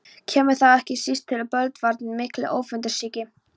Kemur þar ekki síst til bölvaldurinn mikli, öfundsýki.